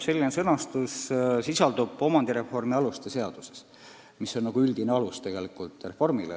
Selline sõnastus sisaldub omandireformi aluste seaduses, mis on reformi üldine alus.